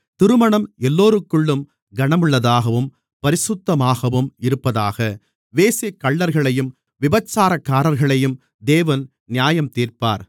திருமணம் எல்லோருக்குள்ளும் கனமுள்ளதாகவும் பரிசுத்தமாகவும் இருப்பதாக வேசிக்கள்ளர்களையும் விபசாரக்காரர்களையும் தேவன் நியாயந்தீர்ப்பார்